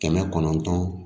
Kɛmɛ kɔnɔntɔn